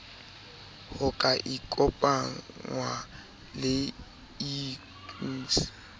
ho ka ikopangwa le iucn